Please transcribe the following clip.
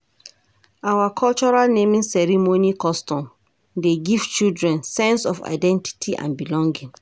Our cultural naming custom dey give children sense of identity and belonging.